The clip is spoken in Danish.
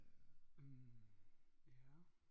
Øh ja